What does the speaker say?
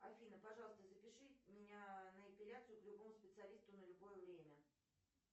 афина пожалуйста запиши меня на эпиляцию к любому специалисту на любое время